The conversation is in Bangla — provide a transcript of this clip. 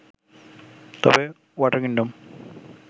তবে ওয়াটার কিংডম